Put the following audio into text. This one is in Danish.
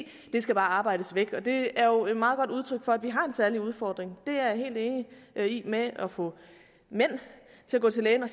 skal bare arbejdes væk det er jo et meget godt udtryk for at vi har en særlig udfordring det er jeg helt enig i med at få mænd til at gå til lægen og